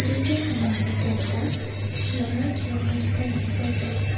সন্মুখতে এটা ল'ৰা থিয় হৈ থকা দেখা পোৱা যায়।